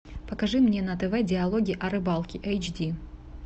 покажи мне на тв диалоги о рыбалке эйч ди